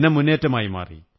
ജനമുന്നേറ്റമായി മാറി